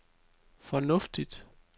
fornuftigt